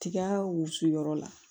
Tiga wusuyɔrɔ la